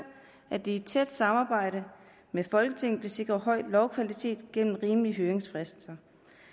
at de i tæt samarbejde med folketinget vil sikre høj lovkvalitet gennem rimelige høringsfrister